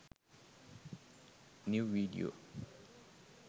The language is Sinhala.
new video